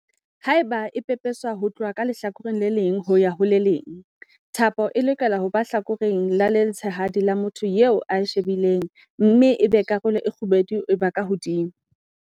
Haeba e pepeswa ho tloha lehlakoreng le leng ho ya ho le leng, thapo e lokela ho ba ka lehlakoreng le letshehadi la motho ya e shebileng mme ebe karolo e kgubedu e ba ka hodimo.